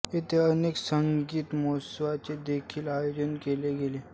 येथे अनेक संगीत महोत्सवांचे देखील आयोजन केले गेले